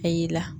A y'i la